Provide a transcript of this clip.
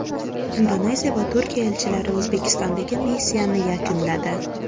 Indoneziya va Turkiya elchilari O‘zbekistondagi missiyasini yakunladi.